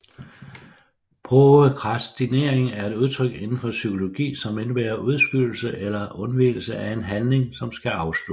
Prokrastinering er et udtryk inden for psykologi som indebærer udskydelse eller undvigelse af en handling som skal afsluttes